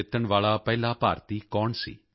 ਜਿੱਤਣ ਵਾਲਾ ਪਹਿਲਾ ਭਾਰਤੀ ਕੌਣ ਸੀ